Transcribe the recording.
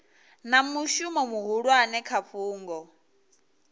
na mushumo muhulwane kha fhungo